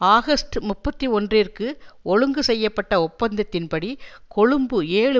August முப்பத்தி ஒன்றிற்கு ஒழுங்கு செய்ய பட்ட ஒப்பந்தத்தின்படி கொழும்பு ஏழு